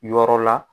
Yɔrɔ la